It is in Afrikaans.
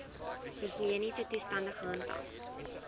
higiëniese toestande gehandhaaf